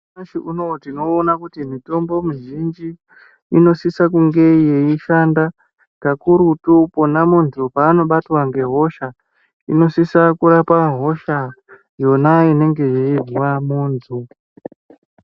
Nyamashi unowu tinoona kuti mitombo mizhinji inosisa kunge yeishanda kakurutu pona muntu panobatwa nehosha inosisa kurapa hosha yona inenge ichirwara muntu.